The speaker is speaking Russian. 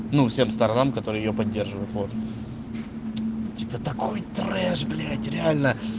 ну всем сторонам которые её поддерживают вот типа такой трэш блять реально